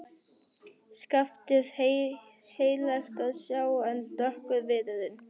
Skaftið heillegt að sjá en dökkur viðurinn.